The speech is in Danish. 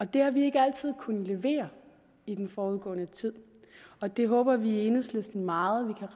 det har vi ikke altid kunnet levere i den forudgående tid og det håber vi i enhedslisten meget